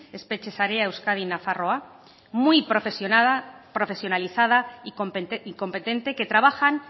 espetxe sarea euskadi nafarroa muy profesionalizada y competentem que trabajan